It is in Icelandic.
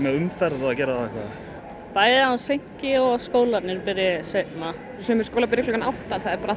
umferðina að gera bæði að hún seinki og að skólarnir byrji seinna sumir skólar byrja klukkan átta það er bara